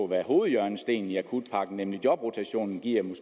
hvad hovedhjørnestenen i akutpakken nemlig jobrotation giver